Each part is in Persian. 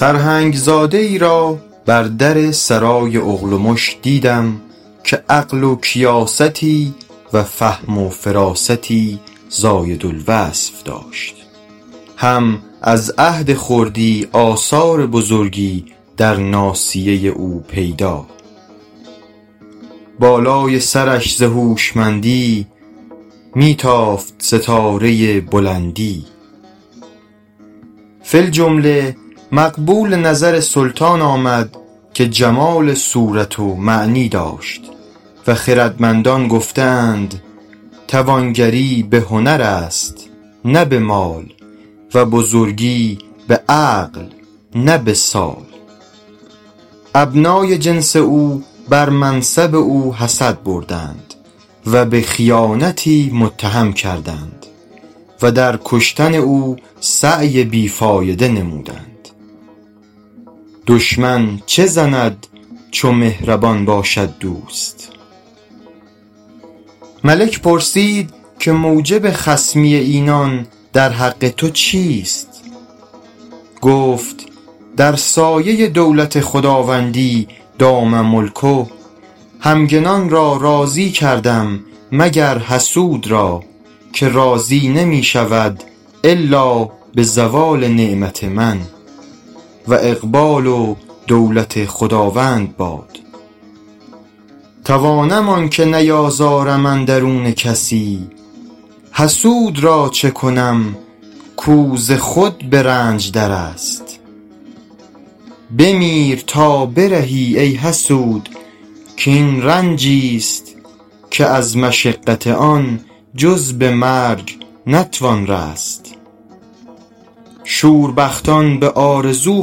سرهنگ زاده ای را بر در سرای اغلمش دیدم که عقل و کیاستی و فهم و فراستی زاید الوصف داشت هم از عهد خردی آثار بزرگی در ناصیه او پیدا بالای سرش ز هوشمندی می تافت ستاره بلندی فی الجمله مقبول نظر سلطان آمد که جمال صورت و معنی داشت و خردمندان گفته اند توانگری به هنر است نه به مال و بزرگی به عقل نه به سال ابنای جنس او بر منصب او حسد بردند و به خیانتی متهم کردند و در کشتن او سعی بی فایده نمودند دشمن چه زند چو مهربان باشد دوست ملک پرسید که موجب خصمی اینان در حق تو چیست گفت در سایه دولت خداوندی دام ملکه همگنان را راضی کردم مگر حسود را که راضی نمی شود الا به زوال نعمت من و اقبال و دولت خداوند باد توانم آنکه نیازارم اندرون کسی حسود را چه کنم کو ز خود به رنج در است بمیر تا برهی ای حسود کاین رنجی ست که از مشقت آن جز به مرگ نتوان رست شوربختان به آرزو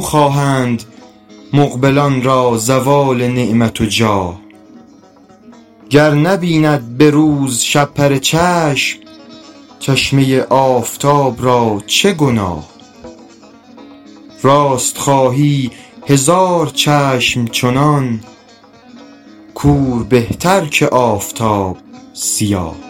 خواهند مقبلان را زوال نعمت و جاه گر نبیند به روز شپره چشم چشمه آفتاب را چه گناه راست خواهی هزار چشم چنان کور بهتر که آفتاب سیاه